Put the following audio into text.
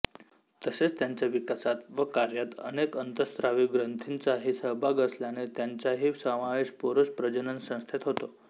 तसेच त्यांच्या विकासात व कार्यात अनेक अंतःस्रावी ग्रंथींचाही सहभाग असल्याने त्यांचाही समावेश पुरुष प्रजननसंस्थेत होतो